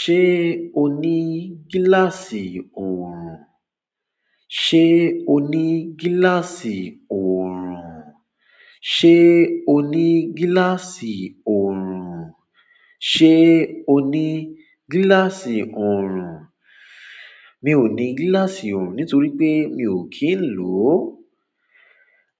Ṣé o ní gíláàsì òrùn? Ṣé o ní gíláàsì òrùn? Ṣé o ní gíláàsì òrùn? Ṣé o ní gíláàsì òrùn? Mi ò ní gíláàsì òrùn nítorí pé mi ò kí ń lò ó.